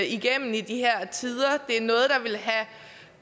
igennem i de her tider